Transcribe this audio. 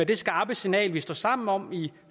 det skarpe signal vi står sammen om i